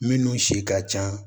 Minnu si ka ca